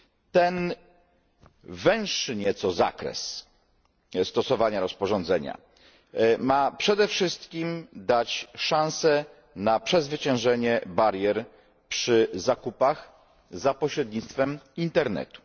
Ten węższy nieco zakres stosowania rozporządzenia ma przede wszystkim dać szansę na przezwyciężenie barier przy zakupach za pośrednictwem internetu.